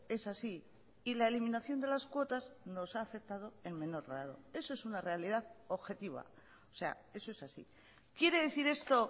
es así y la eliminación de las cuotas nos ha afectado en menor grado eso es una realidad objetiva o sea eso es así quiere decir esto